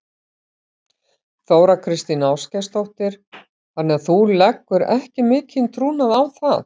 Þóra Kristín Ásgeirsdóttir: Þannig að þú leggur ekki mikinn trúnað á það?